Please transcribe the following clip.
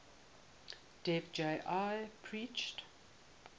dev ji preached